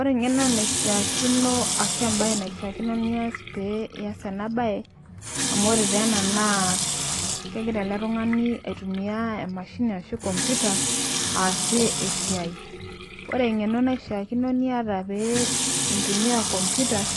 Ore eng'eno naishaakino ashu embaye naishaakino nias pee ias ena baye amu ore teena naa kegira ele tung'ani aitumia emashini ashu komputa aasie esiai. Ore eng'eno niashaakino niata pee intumia komputa,